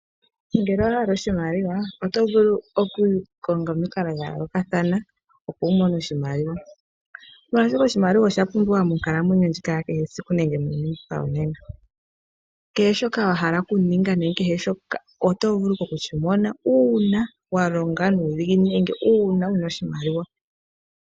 Ngele owa hala oshimaliwa oto vulu okukonga omikalo dha yoolokathana opo umone oshimaliwa, molwashoka oshimaliwa oshapumbiwa monkalamwenyo ndjika ya kehe esiku nenge muuyuni mbuka wonena, kehe shoka wa hala oku ninga nenge kehe shoka oto vulu ike oku shi mona uuna wa longa nuudhiginini nenge uuna wu na oshimaliwa.